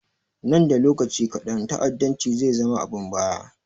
Nan da lokaci kaɗan ta'addanci zai zama abun baya